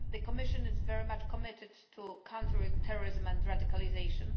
The Commission is very much committed to countering terrorism and radicalisation.